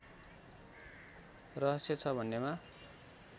रहस्य छ भन्नेमा